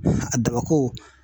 A dabako.